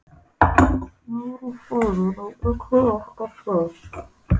Meiri hraðinn á öllu alltaf hreint.